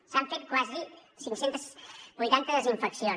s’han fet quasi cinc cents i vuitanta desinfeccions